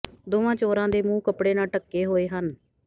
ਦੋਵਾਂ ਚੋਰਾਂ ਦੇ ਮੂੰਹ ਕਪੜੇ ਨਾਲ ਢੱਕੇ ਹੋਏ ਹਨ